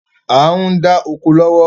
À ń dá oko lọ́wọ́